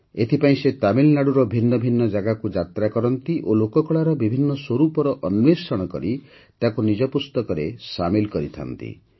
ଏଥିପାଇଁ ସେ ତାମିଲନାଡୁର ଭିନ୍ନ ଭିନ୍ନ ଜାଗାକୁ ଯାତ୍ରା କରନ୍ତି ଓ ଲୋକକଳାର ବିଭିନ୍ନ ସ୍ୱରୂପର ଅନ୍ୱେଷଣ କରି ତାକୁ ନିଜ ପୁସ୍ତକରେ ସାମିଲ କରିଥାନ୍ତି